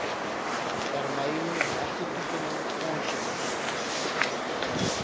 termyn regtetoekenning aansoekers